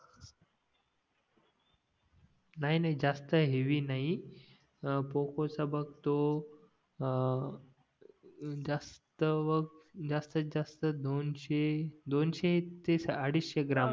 नाही नाही जास्त हेवी नाही पोकॉ चा बघ तो अं जास्त बघ जास्त जास्त दोनशे दोनशे ते अडीचशे ग्राम